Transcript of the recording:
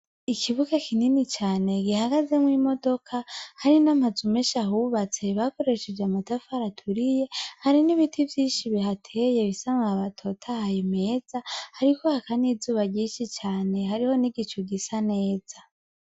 Ikibuga kinini cane, gihagazemwo imodoka, hari n'amazu menshi ahubatse, bakoresheje amatafari aturiye, hari n'ibiti vyinshi bihateye bifise amababi atotahaye meza, hariko haka n'izuba ryinshi cane, hariho n'igicu gisa neza.